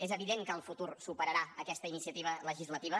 és evident que el futur superarà aquesta iniciativa legislativa